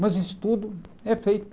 Mas isso tudo é feito.